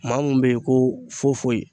Maa mun bɛ yen ko foyi foyi